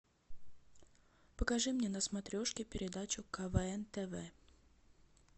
покажи мне на смотрешке передачу квн тв